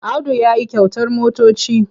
Audu ya yi kyautar motoci.